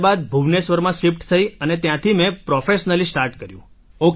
ત્યાર બાદ ભુવનેશ્વરમાં શિફ્ટ થઈને ત્યાંથી મેં પ્રોફેશનલી સ્ટાર્ટ કર્યું